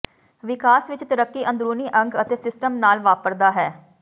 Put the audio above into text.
ਵਿਕਾਸ ਵਿਚ ਤਰੱਕੀ ਅੰਦਰੂਨੀ ਅੰਗ ਅਤੇ ਸਿਸਟਮ ਨਾਲ ਵਾਪਰਦਾ ਹੈ